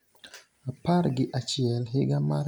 16. Apar gi achiel higa mar